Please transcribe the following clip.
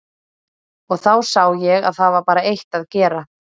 Og þá sá ég að það var bara eitt að gera.